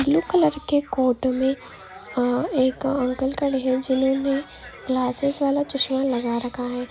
blue colour के coat मे एक अंकल खड़े है जिन्होंने ग्लासेस वाला चश्मा लगा रखा--